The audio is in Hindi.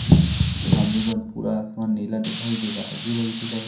पूरा आसमान नीला दिखाई दे रहा अजीब अजीब सारे--